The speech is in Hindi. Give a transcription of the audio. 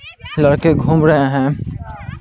लड़के घूम रहे हैं।